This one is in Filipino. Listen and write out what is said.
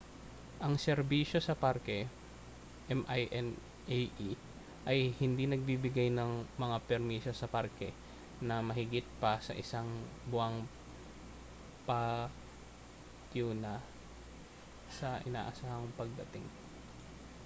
ang serbisyo sa parke minae ay hindi nagbibigay ng mga permiso sa parke na mahigit pa sa isang buwang patiuna sa inaasahang pagdating